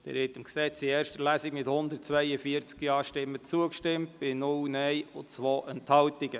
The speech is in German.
Sie haben diesem Gesetz in erster Lesung mit 142 Ja-Stimmen zugestimmt, bei 0 NeinStimmen und 2 Enthaltungen.